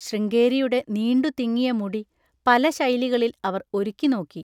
ശൃംഗേരിയുടെ നീണ്ടുതിങ്ങിയ മുടി പല ശൈലികളിൽ അവർ ഒരുക്കിനോക്കി.